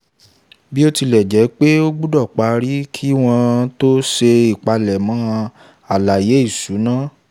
bí ó tilẹ̀ jẹ́ pé ó gbọ́dọ̀ parí kí wọ́n tó ṣe ìpalẹ̀mọ́ àlàyé ìṣúná.